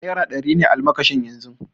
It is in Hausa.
Naira ɗari ne almakashin yanzu